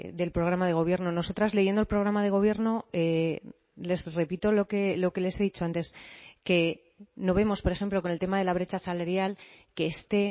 del programa de gobierno nosotras leyendo el programa de gobierno les repito lo que les he dicho antes que no vemos por ejemplo con el tema de la brecha salarial que esté